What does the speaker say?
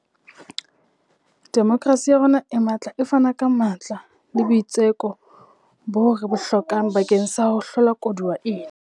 Demokerasi ya rona e matla e fana ka matla le boitseko boo re bo hlokang bakeng sa ho hlola koduwa ena.